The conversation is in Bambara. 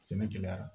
Sɛnɛ gɛlɛyara